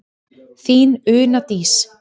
Þín Una Dís.